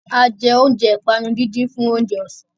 A jẹ oúnjẹ ìpanu díndín fún oúnjẹ ọ̀sán.